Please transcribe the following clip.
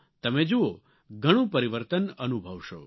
તમે જુઓ ઘણું પરિવર્તન અનુભવશો